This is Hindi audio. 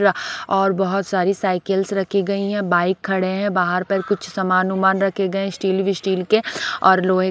और बहोत सारी साइकिल्स रखी गई है बाइक खड़े हैं बाहर पर कुछ सामान उमान रखे गए है स्टील विस्टिल के और लोहे--